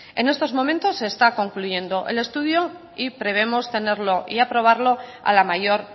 en estos momentos está concluyendo el estudio y prevemos tenerlo y aprobarlo a la mayor